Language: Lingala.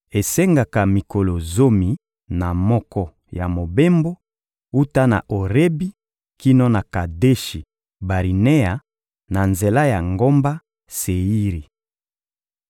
Esengaka mikolo zomi na moko ya mobembo wuta na Orebi kino na Kadeshi-Barinea, na nzela ya ngomba Seiri.